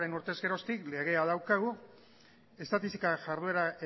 urtez geroztik legea daukagu estatistika jarduera